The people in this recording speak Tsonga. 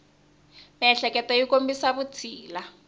miehleketo yi kombisa vutshila